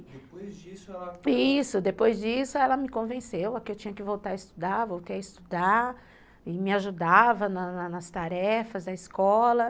Depois disso ela... Isso, depois disso ela me convenceu que eu tinha que voltar a estudar, voltei a estudar, e me ajudava nas nas nas tarefas da escola.